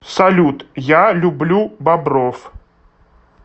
салют я люблю бобров